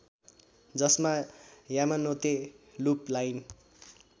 जसमा Yamanote loop line